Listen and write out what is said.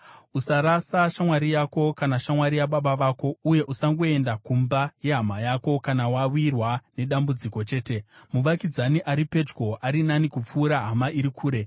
Usarasa shamwari yako kana shamwari yababa vako, uye usangoenda kumba yehama yako kana wawirwa nedambudziko chete, muvakidzani ari pedyo ari nani kupfuura hama iri kure.